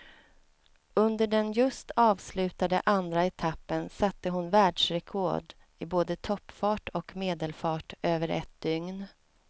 Under den just avslutade andra etappen satte hon världsrekord i både toppfart och medelfart över ett dygn.